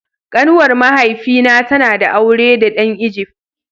Kanuwar mahaifi na ta na da aure da dan "Egypt".